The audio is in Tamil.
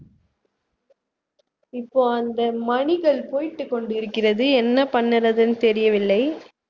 இப்போ அந்த மணிகள் போயிட்டு கொண்டிருக்கிறது என்ன பண்ணறதுன்னு தெரியவில்லை